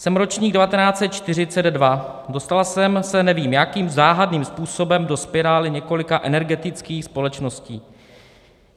Jsem ročník 1942, dostala jsem se nevím jakým záhadným způsobem do spirály několika energetických společností.